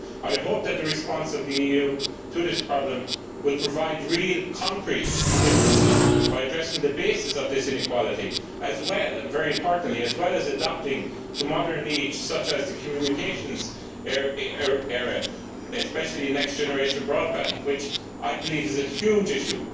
I would hope that the response of the EU to this problem will lead to real, concrete differences by addressing the basis of this inequality and, very importantly, by adapting to modern needs such as the communications area, and especially next generation broadband, which I believe is a huge issue.